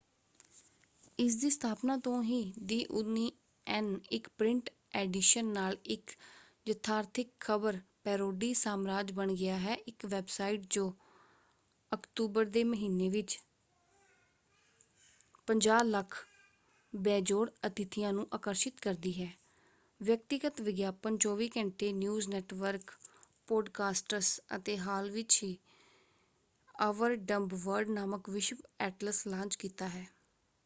ਇਸਦੀ ਸਥਾਪਨਾ ਤੋਂ ਹੀ ਦਿ ਓਨੀਅਨ ਇਕ ਪ੍ਰਿੰਟ ਐਡੀਸ਼ਨ ਨਾਲ ਇਕ ਯਥਾਰਥਿਕ ਖ਼ਬਰ ਪੈਰੋਡੀ ਸਾਮਰਾਜ ਬਣ ਗਿਆ ਹੈ ਇਕ ਵੈਬਸਾਈਟ ਜੋ ਅਕਤੂਬਰ ਦੇ ਮਹੀਨੇ ਵਿੱਚ 5,000,000 ਬੇਜੋੜ ਅਤਿਥੀਆਂ ਨੂੰ ਆਕਰਸ਼ਿਤ ਕਰਦੀ ਹੈ ਵਿਅਕਤੀਗਤ ਵਿਗਿਆਪਨ 24 ਘੰਟੇ ਨਿਊਜ਼ ਨੈਟਵਰਕ ਪੋਡਕਾਸਟਸ ਅਤੇ ਹਾਲ ਹੀ ਵਿੱਚ ਅਵਰ ਡੰਬ ਵਰਡ ਨਾਮਕ ਵਿਸ਼ਵ ਐਟਲਸ ਲਾਂਚ ਕੀਤਾ ਹੈ।